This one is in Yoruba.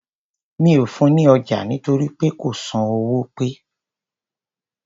Mí ò fun ní ọjà nítorí kò san owó pe.